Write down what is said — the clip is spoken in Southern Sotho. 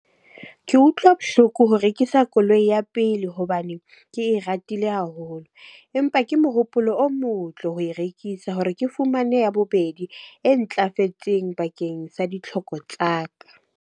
Ke utlwa bohloko ho rekisa koloi ya pele hobane ke e ratile haholo. Empa ke mohopolo o motle ho e rekisa hore ke fumane ya bobedi e ntlafetseng bakeng sa ditlhoko tsaka.